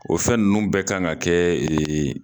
O fɛn nunnu bɛ kan ka kɛ